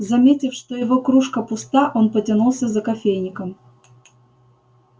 заметив что его кружка пуста он потянулся за кофейником